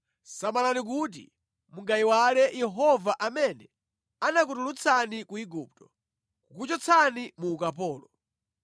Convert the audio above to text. samalani kuti mungayiwale Yehova amene anakutulutsani ku Igupto, kukuchotsani mu ukapolo.